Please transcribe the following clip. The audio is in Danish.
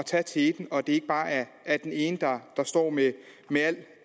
tage teten og at det ikke bare er er den ene der står med med alt